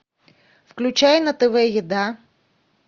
включай на тв еда